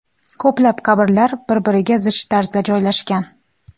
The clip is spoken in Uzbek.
Ko‘plab qabrlar bir-biriga zich tarzda joylashgan.